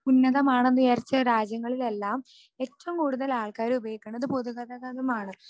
ഉന്നതമാണെന്നു വിചാരിച്ച രാജ്യങ്ങളിലെല്ലാം എറ്റവും കൂടുതൽ ആളുകൾ ഉപയോഗിക്കുന്നത് പൊതുഗതാഗതമാണ്